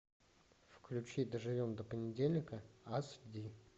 включи доживем до понедельника аш ди